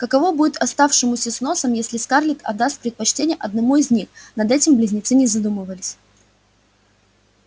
каково будет оставшемуся с носом если скарлетт отдаст предпочтение одному из них над этим близнецы не задумывались